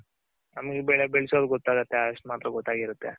ನಮ್ಗ್ ಬೆಳೆ ಬೆಳ್ಸೋದ್ ಗೊತ್ತಿರುತ್ತೆ ಅಷ್ಟ್ ಮಾತ್ರ ಗೊತ್ತಾಗಿರುತ್ತೆ.